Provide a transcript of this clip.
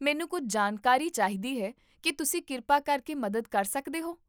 ਮੈਨੂੰ ਕੁੱਝ ਜਾਣਕਾਰੀ ਚਾਹੀਦੀ ਹੈ ਕੀ ਤੁਸੀਂ ਕਿਰਪਾ ਕਰਕੇ ਮਦਦ ਕਰ ਸਕਦੇ ਹੋ